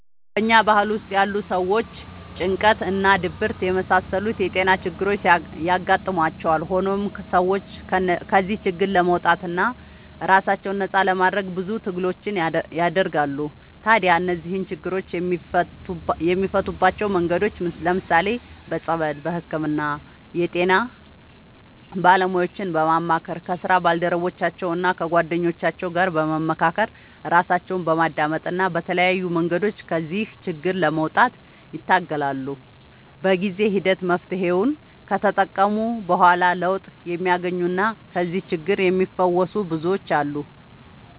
በኛ ባህል ውስጥ ያሉ ሰዎች ጭንቀት እና ድብርት የመሳሰሉት የጤና ችግሮች ያጋጥሟቸዋል። ሆኖም ሰዎቹ ከዚህ ችግር ለመውጣትና ራሳቸውን ነፃ ለማድረግ ብዙ ትግሎችን ያደርጋሉ። ታዲያ እነዚህን ችግሮች የሚፈቱባቸው መንገዶች ለምሳሌ፦ በፀበል፣ በህክምና፣ የጤና ባለሙያዎችን በማማከር፣ ከስራ ባልደረቦቻቸው እና ከጓደኞቻቸው ጋር በመካከር፣ ራሳቸውን በማዳመጥ እና በተለያዩ መንገዶች ከዚህ ችግር ለመውጣት ይታገላሉ። በጊዜ ሂደት መፍትሔውን ከተጠቀሙ በኋላ ለውጥ የሚያገኙና ከዚህ ችግር የሚፈወሱ ብዙዎች አሉ።